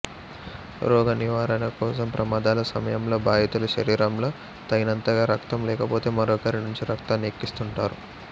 రోగ నివారణ కోసం ప్రమాదాల సమయంలో బాధితుల శరీరంలో తగినంతగా రక్తం లేకపోతే మరొకరి నుంచి రక్తాన్ని ఎక్కిస్తుంటారు